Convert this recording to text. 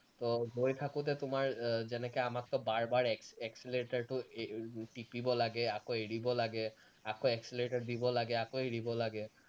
তো গৈ থাকোতে তোমাৰ আহ যেনেকে আমাকতো বাৰ বাৰ এক্স accelerator টো এৰ টিপিব লাগে আকৌ এৰিব লাগে আকৌ accelerator দিব লাগে আকৌ এৰিব লাগে